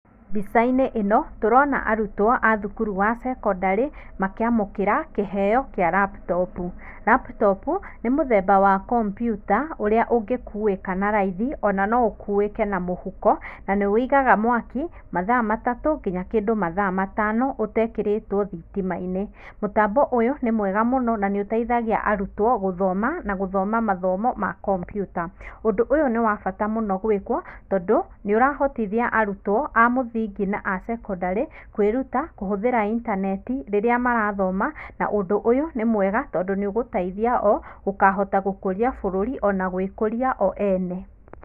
Mbicainĩ ĩno tũrona arutwo wa thukuru wa cekondarĩ makĩamũkira kĩheo kĩa laptop, laptop nĩmũthemba wa kompyuta ũrĩa ũngĩkuĩka na raithi ona nũukuĩke na mũhuko na nĩwĩigaga mwaki mathaa matũ nginya mathaa matano ũtekerĩtwo thitimainĩ, mũtambo ũyũ nĩ mwega mũno na nĩ ũteithagia arũtwo gũthoma na gũthoma mathomo ma kompyuta. Ũndũ ũyũ nĩwabata mũno gwĩkwo tondũ nĩũrahotithia arutwo amũthingi na acekondarĩ kwĩruta kũhũthĩra intaneti rĩrĩa marathoma na ũndũ ũyũ nĩ mwega tondũ nĩũgũteithia o gũkahota gũkũria bũrũri ona gũĩkũria o ene.